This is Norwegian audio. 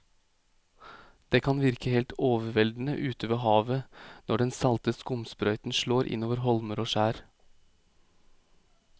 Det kan virke helt overveldende ute ved havet når den salte skumsprøyten slår innover holmer og skjær.